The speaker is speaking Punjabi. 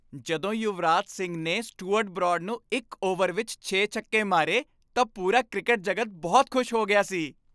ਜਦੋਂ ਯੁਵਰਾਜ ਸਿੰਘ ਨੇ ਸਟੂਅਰਟ ਬਰਾਡ ਨੂੰ ਇੱਕ ਓਵਰ ਵਿੱਚ ਛੇ ਛੱਕੇ ਮਾਰੇ ਤਾਂ ਪੂਰਾ ਕ੍ਰਿਕਟ ਜਗਤ ਬਹੁਤ ਖ਼ੁਸ਼ ਹੋ ਗਿਆ ਸੀ।